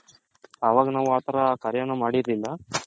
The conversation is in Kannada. ವಾಗ ನಾವ್ ಆ ತರ ಕಾರ್ಯನು ಮಾಡಿರಲಿಲ್ಲ